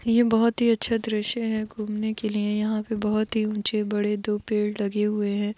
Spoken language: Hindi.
ये बहुत ही अच्छा दृश्य है घूमने के लिए यहाँ पे बहुत ही उचे बड़े दो पेड़ लगे हुए है।